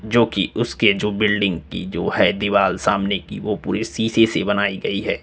जो कि उसके जो बिल्डिंग की जो है दीवाल सामने कि वो पूरी शीशे से बनाई गई है।